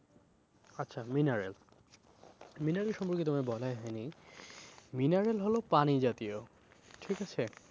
আচ্ছা mineral mineral সম্পর্কে তোমায় বলাই হয়নি mineral হলো পানি জাতীয়, ঠিক আছে?